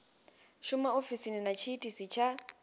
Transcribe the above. shuma ofisini na tshiitisi tsha